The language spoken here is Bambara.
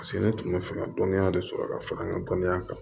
Paseke ne tun bɛ fɛ ka dɔnniya de sɔrɔ ka fara n ka dɔnniya kan